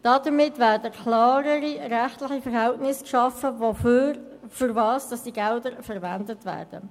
Damit werden klarere rechtliche Verhältnisse darüber geschaffen, wofür diese Gelder verwendet werden.